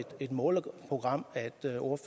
et måleprogram